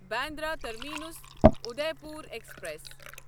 Bandra terminus Udaipur express